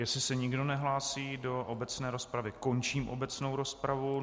Jestli se nikdo nehlásí do obecné rozpravy, končím obecnou rozpravu.